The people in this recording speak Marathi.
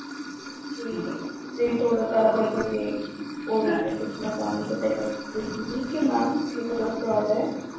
कि मी थोडं त्याला बडबडलीय ओरडले खूप त्यानंतर त्याने मला माहिती दिली कि मॅम हे सगळं फ्रॉड आहे